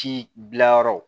Ci bila yɔrɔ